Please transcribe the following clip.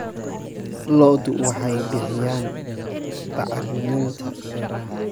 Lo'du waxay bixiyaan bacriminta beeraha.